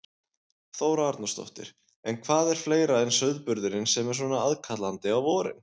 Þóra Arnórsdóttir: En hvað er fleira en sauðburðurinn sem er svona aðkallandi á vorin?